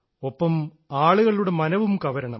ഒപ്പം ആളുകളുടെ മനവും കവരണം